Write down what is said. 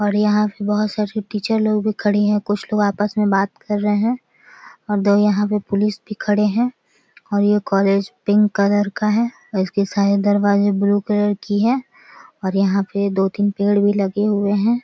और यहाँ पे बहुत सारी टीचर लोग भी खड़ी हैं कुछ लोग आपस में बात कर रहे हैं और दो यहाँ पे पुलिस भी खड़े हैं और ये कॉलेज पिंक कलर का है और इसके सारे दरवाज़े ब्लू कलर की हैं और यहाँ पे दो तीन पेड़ भी लगे हुए भी हैं ।